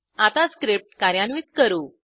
आता स्क्रिप्ट कार्यान्वित करू